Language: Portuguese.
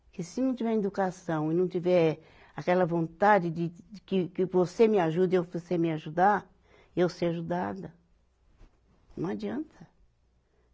Porque se não tiver educação e não tiver aquela vontade de, de que, que você me ajude e eu você me ajudar, e eu ser ajudada, não adianta.